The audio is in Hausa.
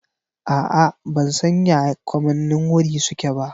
A'a ban san ya kamannin wuri suke ba.